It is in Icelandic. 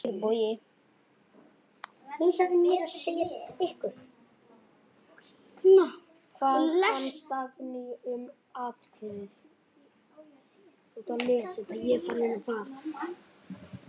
Kæri Bogi.